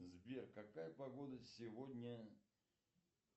сбер какая погода сегодня